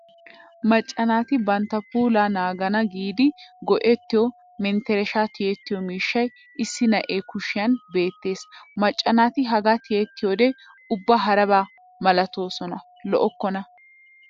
Macca naati bantta puulaa naagana giidi go'ettiyo merttershshaa tiyettiyo miishshay issi na'ee kushiyan beettes. Macca naati hagaa tiyettiyoode ubba haraba malatoosona lo'okkona.